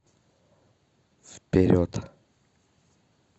вперед